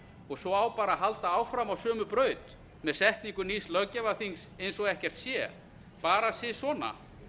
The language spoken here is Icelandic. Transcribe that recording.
og svo á bara að halda áfram á sömu braut með setningu nýs löggjafarþings eins og ekkert sé bara sisona